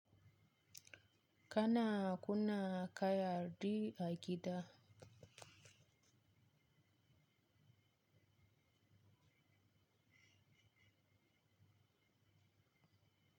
Kana kuna kayarɗi a gida?